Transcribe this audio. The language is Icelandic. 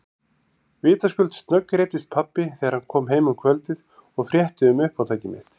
Vitaskuld snöggreiddist pabbi þegar hann kom heim um kvöldið og frétti um uppátæki mitt.